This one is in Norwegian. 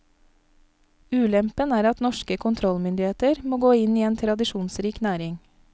Ulempen er at norske kontrollmyndigheter må gå inn i en tradisjonsrik næring.